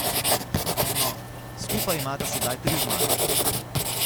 No, skupaj imata sedaj tri zmage.